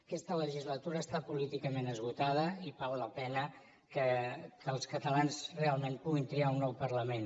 aquesta legislatura està políticament esgotada i val la pena que els catalans realment puguin triar un nou parlament